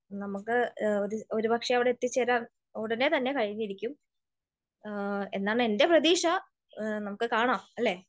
നമുക്ക് ഒരുപക്ഷെ അവിടെ എത്തിച്ചേരാൻ ഉടനെ തന്നെ കഴിഞ്ഞിരിക്കും എന്നാണ് എൻ്റെ പ്രതീക്ഷ. നമുക്ക് കാണാം, അല്ലെ?